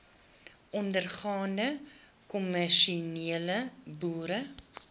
ondergaande kommersiële boere